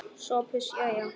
SOPHUS: Jæja!